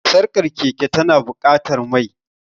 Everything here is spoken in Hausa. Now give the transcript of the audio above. Sarkar keke tana buƙatar mai.